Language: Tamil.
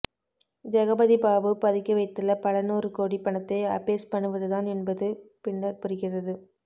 ஜெகபதி பாபு பதுக்கிவைத்துள்ள பல நூறு கோடி பணத்தை அபேஸ் பண்ணுவதுதான் என்பது பின்னர் புரிகிறது